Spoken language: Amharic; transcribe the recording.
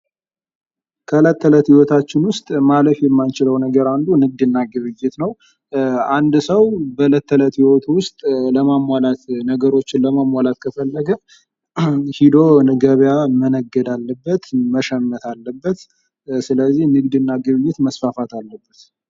ከእለት ተእለት ህይወታችን ውስጥ ማለፍ የማንችለው ነገር አንዱ ንግድና ግብይት ነው። አንድ ሰው በዕለት ተዕለት ኑሮው ውስጥ ነገሮችን ለማሟላት ከፈለገ ሄዶ ከገበያ መነገድ አለበት መሸመት አለበት። ስለዚህ ንግድና ግብይት መስፋፋት አለበት።